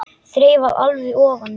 Þreifar alveg ofan í hann.